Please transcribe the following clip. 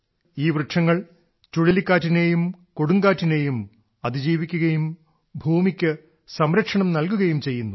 ഈ വൃക്ഷങ്ങൾ ചുഴലിക്കാറ്റിനെയും കൊടുങ്കാറ്റിനെയും അതിജീവിക്കുകയും ഭൂമിക്ക് സംരക്ഷണം നൽകുകയും ചെയ്യുന്നു